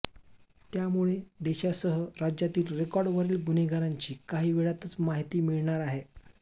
त्यामुळे देशासह राज्यातील रेकॉर्डवरील गुन्हेगारांची काही वेळातच माहिती मिळणार आहे